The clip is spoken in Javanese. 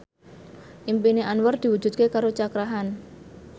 impine Anwar diwujudke karo Cakra Khan